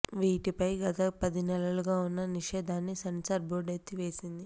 వీటిపై గత పది నెలలుగా ఉన్న నిషేధాన్ని సెన్సార్ బోర్డ్ ఎత్తివేసింది